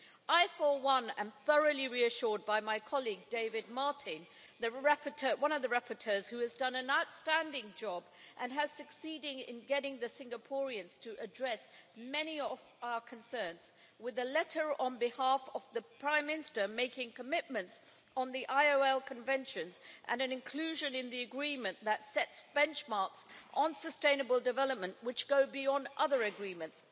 I, for one, am thoroughly reassured by my colleague, David Martin, one of the rapporteurs, who has done an outstanding job and has succeeded in getting the Singaporeans to address many of our concerns with a letter on behalf of the Prime Minster making commitments on the ILO Conventions and an inclusion in the Agreement that sets benchmarks on sustainable development which go beyond other agreements.